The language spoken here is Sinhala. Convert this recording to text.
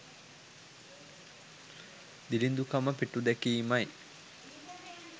දිළිඳුකම පිටුදැකීමයි.